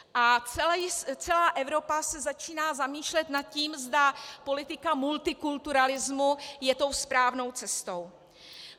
A celá Evropa se začíná zamýšlet nad tím, zda politika multikulturalismu je tou správnou cestou.